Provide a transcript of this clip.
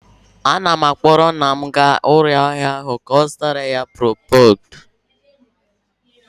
Ana m akpọrọ nna m gaa ụlọ ahịa ọgwụ ka ọ zụtara ya procood,